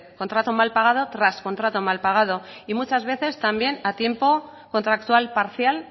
contrato mal pagado tras contrato mal pagado y muchas veces también a tiempo contractual parcial